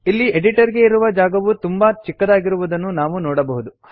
ಇಲ್ಲಿ ಎಡಿಟರ್ ಗೆ ಇರುವ ಜಾಗವು ತುಂಬಾ ಚಿಕ್ಕದಾಗಿರುವುದನ್ನು ನಾವು ನೋಡಬಹುದು